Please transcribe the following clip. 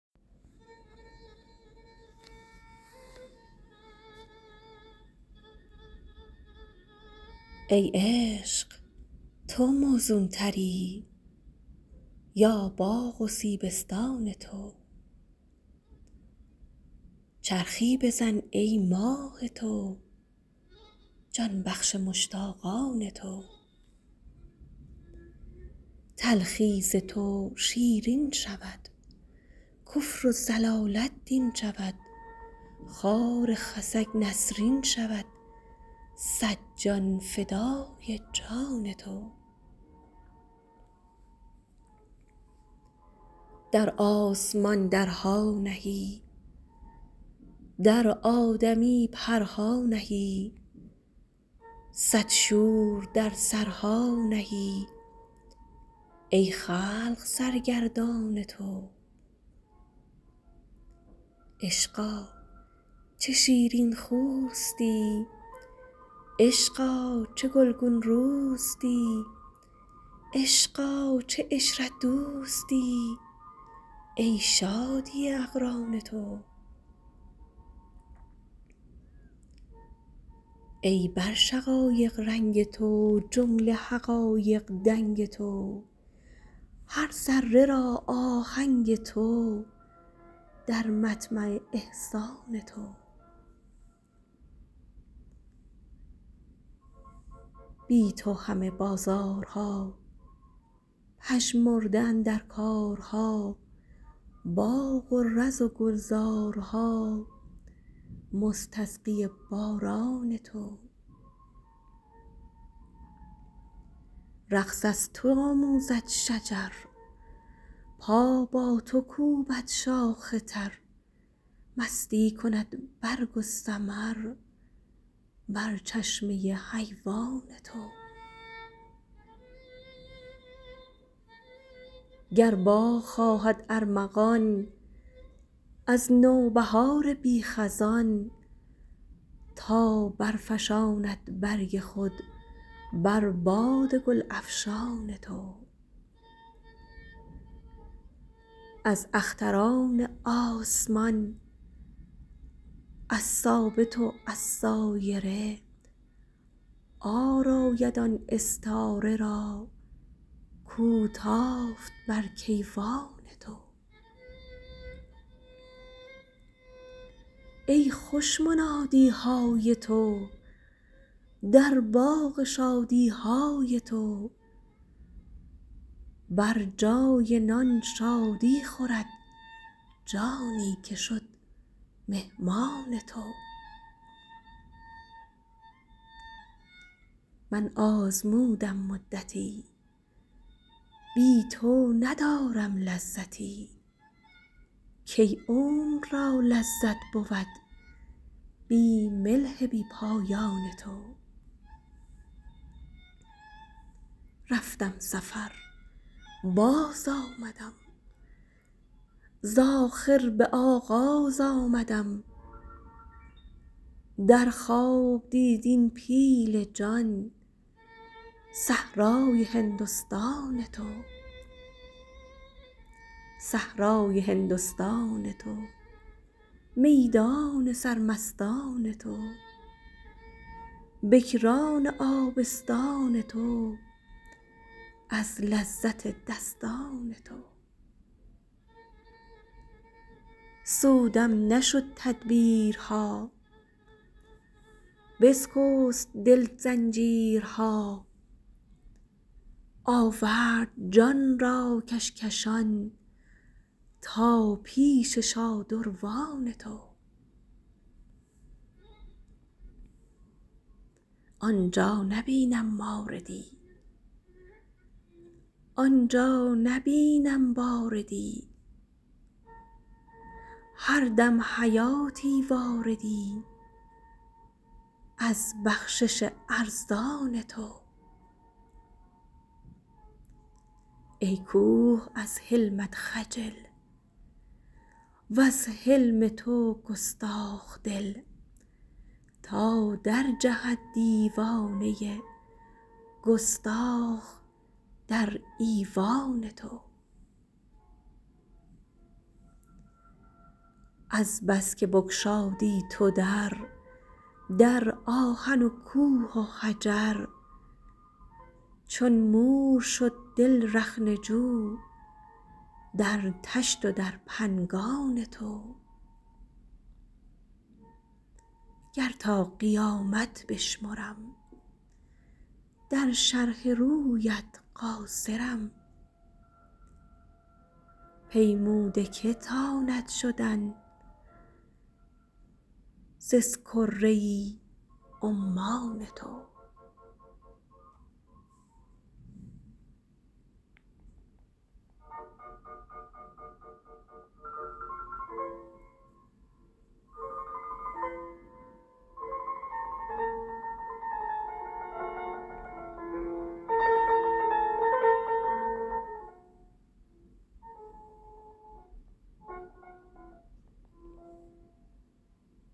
ای عشق تو موزونتری یا باغ و سیبستان تو چرخی بزن ای ماه تو جان بخش مشتاقان تو تلخی ز تو شیرین شود کفر و ضلالت دین شود خار خسک نسرین شود صد جان فدای جان تو در آسمان درها نهی در آدمی پرها نهی صد شور در سرها نهی ای خلق سرگردان تو عشقا چه شیرین خوستی عشقا چه گلگون روستی عشقا چه عشرت دوستی ای شادی اقران تو ای بر شقایق رنگ تو جمله حقایق دنگ تو هر ذره را آهنگ تو در مطمع احسان تو بی تو همه بازارها پژمرده اندر کارها باغ و رز و گلزارها مستسقی باران تو رقص از تو آموزد شجر پا با تو کوبد شاخ تر مستی کند برگ و ثمر بر چشمه حیوان تو گر باغ خواهد ارمغان از نوبهار بی خزان تا برفشاند برگ خود بر باد گل افشان تو از اختران آسمان از ثابت و از سایره عار آید آن استاره را کو تافت بر کیوان تو ای خوش منادی های تو در باغ شادی های تو بر جای نان شادی خورد جانی که شد مهمان تو من آزمودم مدتی بی تو ندارم لذتی کی عمر را لذت بود بی ملح بی پایان تو رفتم سفر بازآمدم ز آخر به آغاز آمدم در خواب دید این پیل جان صحرای هندستان تو صحرای هندستان تو میدان سرمستان تو بکران آبستان تو از لذت دستان تو سودم نشد تدبیرها بسکست دل زنجیرها آورد جان را کشکشان تا پیش شادروان تو آن جا نبینم ماردی آن جا نبینم باردی هر دم حیاتی واردی از بخشش ارزان تو ای کوه از حلمت خجل وز حلم تو گستاخ دل تا درجهد دیوانه ای گستاخ در ایوان تو از بس که بگشادی تو در در آهن و کوه و حجر چون مور شد دل رخنه جو در طشت و در پنگان تو گر تا قیامت بشمرم در شرح رویت قاصرم پیموده کی تاند شدن ز اسکره عمان تو